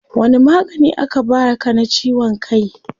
Wani magani aka baa ka na ciwon kai?